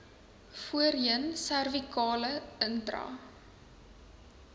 voorheen servikale intra